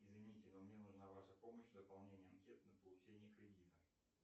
извините но мне нужна ваша помощь в заполнении анкет на получение кредита